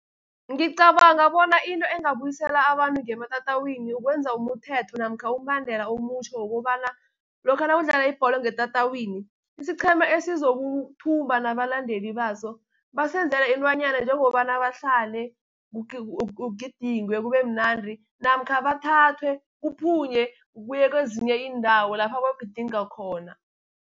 Ngicabanga bona into ingabuyisela abantu ngematatawini ukwenza umthetho, namkha umbandela omutjha wokobana, lokha nakudlala ibholo ngetatawini isiqhema esizokuthumba nabalandeli baso, basebenzela intwanyana njengobana bahlale kugidingwe kubemnandri, namkha bathathwe kuphunye kuye kwezinye iindawo lapha bagidinga khona.